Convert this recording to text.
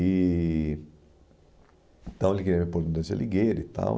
E Então ele queria me pôr no Dante Alighieri e tal.